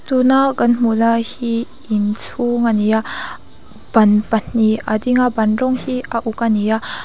tuna kan hmuh lai hi inchhung ani a ban pahnih a ding a ban rawng hi a uk ani a.